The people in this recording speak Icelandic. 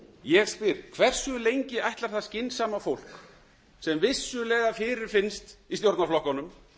ég spyr hversu lengi ætlar það skynsama fólk sem vissulega fyrirfinnst í stjórnarflokkunum